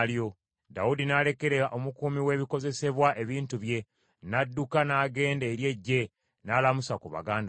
Dawudi n’alekera omukuumi w’ebikozesebwa ebintu bye, n’adduka n’agenda eri eggye, n’alamusa ku baganda be.